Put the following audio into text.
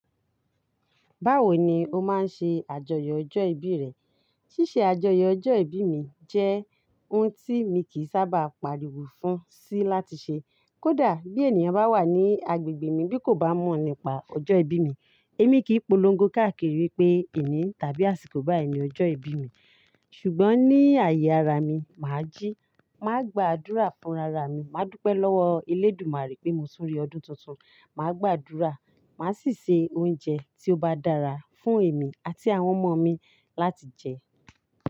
Báwo ni o máa ń ṣe àjọyọ̀ ọjọ́ ìbí rẹ? Ṣíṣe àjọyọ̀ ọjọ́ ìbí mi jẹ́ oun tí mi kì í sábà pariwo fún sì láti ṣe. Kódà bí ènìyàn bá wà ní agbègbè mi bí kò bá mọ̀ nípa ọjọ́ ìbí mi, èmi kì í polongo káàkiri wípé ìní tàbí àsìkò báyìí ni ọjọ́ ìbí mi. Ṣùgbọ́n ní àyè ara mi, mà á jí, mà á gbàdúrà fún ara mi, mà á dúpẹ́ lọ́wọ́ Elédùmarè pé mo tun rí ọdún tuntun, mà á gbàdúrà, mà á sì se oúnjẹ tí ó bá dára fún èmi àti àwọn ọmọ mi láti jẹ.